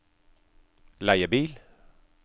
leiebil